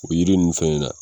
O yiri ninnu fana na